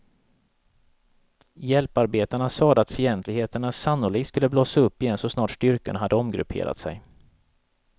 Hjälparbetarna sade att fientligheterna sannolikt skulle blossa upp igen så snart styrkorna hade omgrupperat sig.